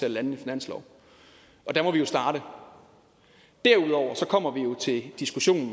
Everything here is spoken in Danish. at lande en finanslov og der må vi jo starte derudover kommer vi jo til diskussionen